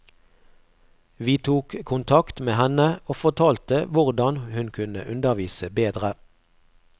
Vi tok kontakt med henne og fortalte hvordan hun kunne undervise bedre.